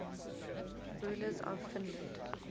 rulers of finland